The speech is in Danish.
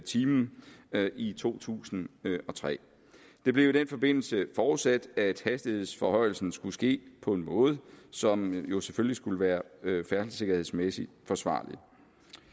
time i to tusind og tre det blev i den forbindelse forudsat at hastighedsforhøjelsen skulle ske på en måde som jo selvfølgelig skulle være færdselssikkerhedsmæssig forsvarlig